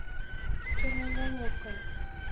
черноголовка